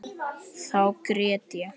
Þá grét ég.